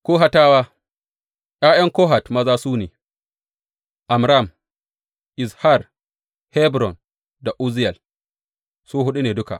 Kohatawa ’Ya’yan Kohat maza su ne, Amram, Izhar, Hebron da Uzziyel, su huɗu ne duka.